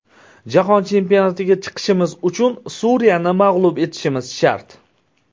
Jahon chempionatiga chiqishimiz uchun Suriyani mag‘lub etishimiz shart!